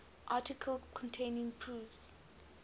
articles containing proofs